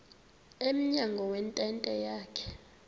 emnyango wentente yakhe